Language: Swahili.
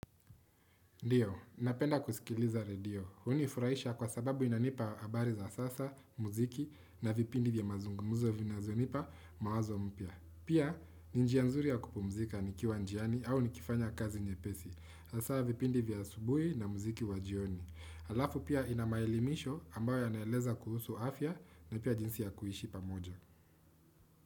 Ndiyo, napenda kusikiliza radio. Hunifurahisha kwa sababu inanipa habari za sasa, muziki na vipindi vya mazungumuzo vinazonipa mawazo mpya. Pia, ni njia nzuri ya kupumuzika nikiwa njiani au nikifanya kazi nyepesi. Hasa vipindi vya asubuhi na muziki wa jioni. Alafu pia ina maelimisho ambayo yanaeleza kuhusu afya na pia jinsi ya kuishi pamoja.